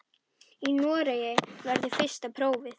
Í Noregi verður fyrsta prófið.